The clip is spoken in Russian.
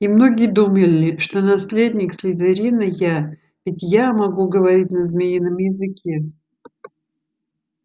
и многие думали что наследник слизерина я ведь я могу говорить на змеином языке